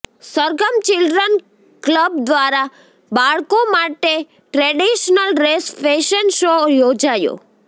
Sargam children club દ્વારા બાળકો માટે ટ્રેડિશ્નલ ડ્રેસ ફેશન શો યોજાયો